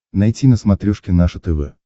найти на смотрешке наше тв